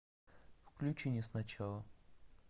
включи не с начала